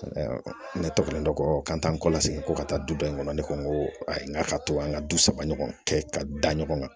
Ne tɔgɔ ka taa n kɔ lase ko ka taa du dɔ in kɔnɔ ne ko n ko ayi n k'a ka to an ka du saba ɲɔgɔn kɛ ka da ɲɔgɔn na